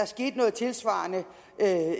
skete noget tilsvarende